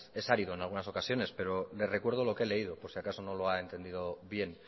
es árido en algunas ocasiones pero le recuerdo lo que he leído por si acaso no lo ha entendido bien